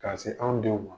Ka se anw denw ma